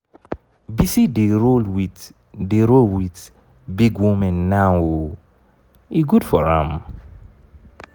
bisi dey roll with dey roll with big women now oo e good for am.